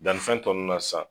Danni fɛn tɔ nunnu na san